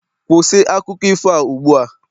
kwụsị akụkọ ifo a ugbu a!